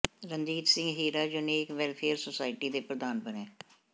Ranjit Singh Hira unique welfare society ਦੇ ਪ੍ਰਧਾਨ ਬਣੇ